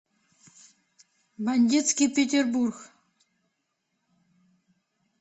бандитский петербург